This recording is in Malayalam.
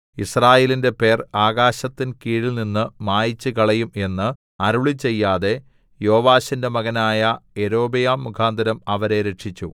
യിസ്രായേലിന്റെ പേർ ആകാശത്തിൻ കീഴിൽനിന്ന് മായിച്ചുകളയും എന്ന് അരുളിച്ചെയ്യാതെ യോവാശിന്റെ മകനായ യൊരോബെയാം മുഖാന്തരം അവരെ രക്ഷിച്ചു